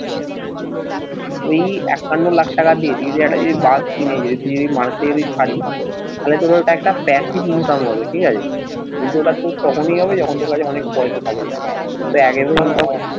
এই একান্ন লাখ টাকা দিয়ে তুই যদি একটা যদি বাস কিনে যদি তুই যদি মানুষকে যদি ছাড়িস তাহলে তোর ওটা একটা passive income হবে ঠিক আছে কিন্তু ওটা তোর তখনি হবে যখন তোর কাছে অনেক পয়সা থাকবে তোর